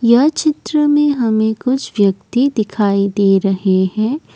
यह चित्र में हमें कुछ व्यक्ति दिखाई दे रहे हैं।